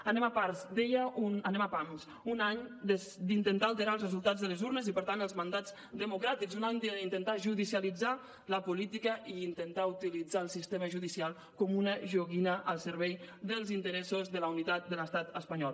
anem a pams deia un any d’intentar alterar els resultats de les urnes i per tant els mandats democràtics un any d’intentar judicialitzar la política i intentar utilitzar el sistema judicial com una joguina al servei dels interessos de la unitat de l’estat espanyol